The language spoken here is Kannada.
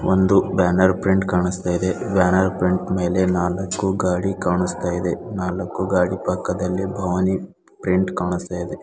ಒಂದು ಬ್ಯಾನರ್ ಪ್ರಿಂಟ್ ಕಾಣಿಸ್ತಾ ಇದೆ ಬ್ಯಾನರ್ ಪ್ರಿಂಟ್ ಮೇಲೆ ನಾಲಕ್ಕು ಗಾಡಿ ಕಾಣಿಸ್ತಾ ಇದೆ ನಾಲಕ್ಕು ಗಾಡಿ ಪಕ್ಕದಲ್ಲಿ ಭವಾನಿ ಪ್ರಿಂಟ್ ಕಾಣಿಸ್ತಾ ಇದೆ.